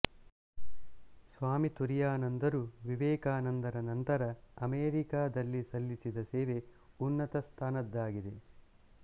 ಸ್ವಾಮಿತುರಿಯಾನಂದರು ವಿವೇಕಾನಂದರ ನಂತರ ಅಮೇರಿಕಾದಲ್ಲಿ ಸಲ್ಲಿಸಿದ ಸೇವೆ ಉನ್ನತ ಸ್ಥಾನದ್ದಾಗಿದೆ